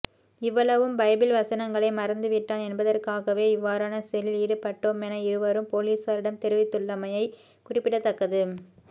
இவ்வளவும் பைபிள் வசனங்களை மறந்துவிட்டான் என்பதற்காகவே இவ்வாறான செயலில் ஈடுபட்டோமென இருவரும் பொலிஸாரிடம் தெரிவித்துள்ளமை குறிப்பிடத்தக்கது